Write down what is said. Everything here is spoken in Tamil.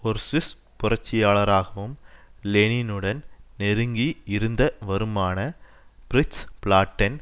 ஒரு சுவிஸ் புரட்சியாளராகவும் லெனினுடன் நெருங்கியிருந்த வருமான பிரிட்ஸ் பிளாட்டென்